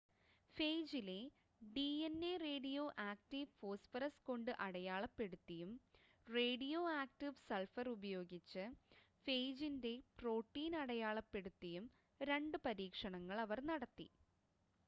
ഫേജിലെ DNA radioactive phosphorus കൊണ്ട് അടയാളപ്പെടുത്തിയും radioactive sulphur ഉപയോഗിച്ച് ഫേജിൻ്റെ പ്രോട്ടീൻ അടയാളപ്പെടുത്തിയും രണ്ട് പരീക്ഷണങ്ങൾ അവർ നടത്തി